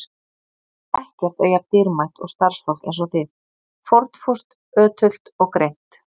Ekkert er jafn dýrmætt og starfsfólk eins og þið: fórnfúst, ötult og greint.